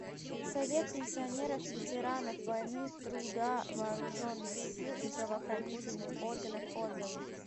совет пенсионеров ветеранов войны труда вооруженных сил и правоохранительных органов отзывы